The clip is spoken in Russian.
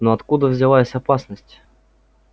но откуда взялась опасность